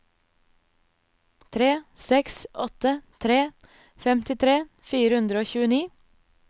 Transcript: tre seks åtte tre femtitre fire hundre og tjueni